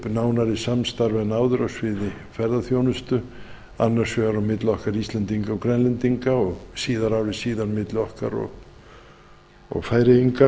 nánari samstarf en áður á sviði ferðaþjónustu annars vegar á milli okkar íslendinga og grænlendinga og síðar ári síðar milli okkar og færeyinga